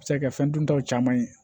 A bɛ se ka kɛ fɛn duntaw caman ye